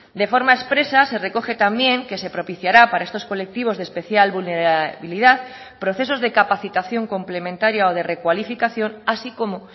de forma expresa se recoge también que se propiciará para estos colectivos de especial vulnerabilidad procesos de capacitación complementaria o de recualificación así como